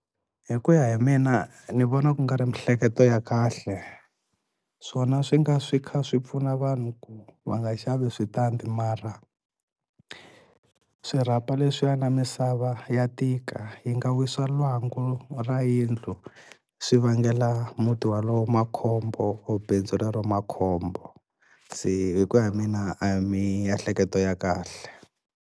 Hi ku ya hi mina ni vona ku nga ri miehleketo ya kahle swona swi nga swi kha swi pfuna vanhu ku va nga xavi switandi mara swirhapa leswiya na misava ya tika yi nga wisa lwangu ra yindlu swi vangela muti walowo makhombo or bindzu rero makhombo se hi ku ya hi mina a hi miehleketo ya kahle.